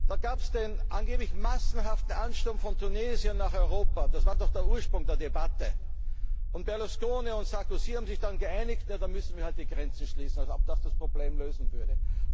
Da gab es den angeblich massenhaften Ansturm von Tunesiern nach Europa. Das war doch der Ursprung der Debatte. Berlusconi und Sarkozy haben sich dann geeinigt Da müssen wir halt die Grenzen schließen. Als ob das das Problem lösen würde!